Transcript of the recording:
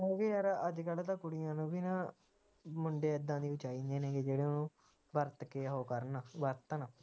ਕਿਉਂਕਿ ਯਾਰ ਅੱਜਕਲ ਤਾ ਕੁੜੀਆਂ ਨੂੰ ਵੀ ਨਾ ਮੁੰਡੇ ਏਦਾਂ ਦੇ ਹੀ ਚਾਹੀਦੇ ਨੇ ਜਿਹੜੇ ਵਰਤ ਕੇ ਉਹ ਕਰਨ ਵਰਤਣ